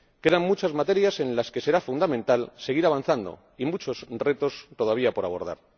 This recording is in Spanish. Quedan muchas materias en las que será fundamental seguir avanzando y muchos retos todavía por abordar.